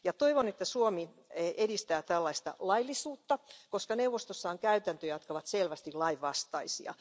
Toivon, että Suomi edistää tällaista laillisuutta, koska neuvostossa on käytäntöjä, jotka ovat selvästi lainvastaisia.